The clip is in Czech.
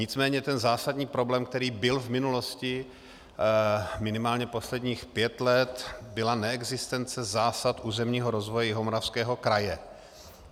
Nicméně ten zásadní problém, který byl v minulosti minimálně posledních pět let, byla neexistence zásad územního rozvoje Jihomoravského kraje.